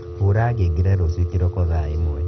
hura ngengere ruciū kīroko thaa īmwe